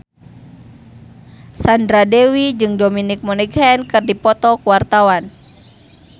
Sandra Dewi jeung Dominic Monaghan keur dipoto ku wartawan